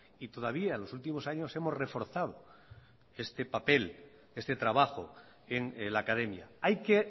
y todavía en los últimos años hemos reforzado este papel este trabajo en la academia hay que